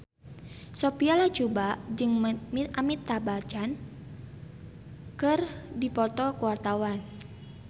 Sophia Latjuba jeung Amitabh Bachchan keur dipoto ku wartawan